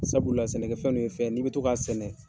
Sabula sɛnɛkɛ nun fɛn ye n'i bɛ to k'a sɛnɛ.